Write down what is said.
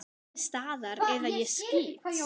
Nemið staðar eða ég skýt!